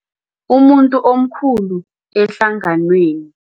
Umuntu omkhulu ehlanganweni.